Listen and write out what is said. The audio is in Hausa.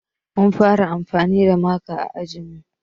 Mun fara anfani da maka a ajinmu